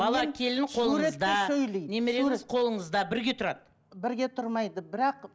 бала келін қолыңызда немереңіз қолыңызда бірге тұрады бірге тұрмайды бірақ